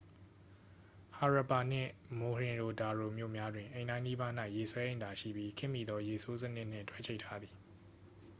ဟာရပ်ပါနှင့် မိုဟင်ရို ဒါရို မြို့များတွင် အိမ်တိုင်းနီးပါး၌ ရေဆွဲအိမ်သာရှိပြီး ခေတ်မီသော ရေဆိုးစနစ်နှင့် တွဲချိတ်ထားသည်